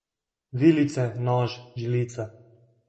Vilice, nož, žlica.